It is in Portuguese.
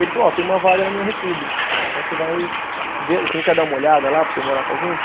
Ele falou, ó, tem uma vaga na minha república, então você vai ver, você não quer dar uma olhada lá para você ir morar com a gente?